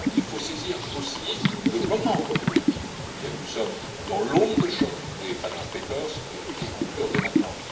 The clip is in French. Il faut saisir aussi le moment politique dans lequel nous sommes, dans l'onde de choc des Panama Papers, pour conclure dès maintenant.